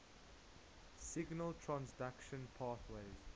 signal transduction pathways